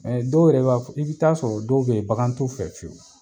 Ɛɛ dɔw yɛrɛ b'a fɔ, i bi taaa sɔrɔ dɔw be yen bakan t'u fɛ feyewu.